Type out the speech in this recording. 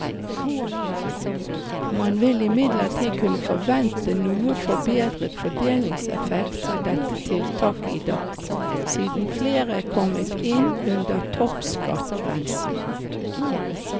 Man vil imidlertid kunne forvente noe forbedret fordelingseffekt av dette tiltaket i dag, siden flere er kommet inn under toppskattgrensene.